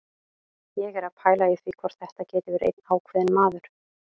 Ég er að pæla í því hvort þetta geti verið einn ákveðinn maður.